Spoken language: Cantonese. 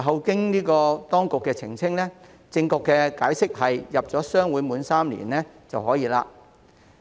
經當局澄清後，正確解釋是加入商會滿3年即可。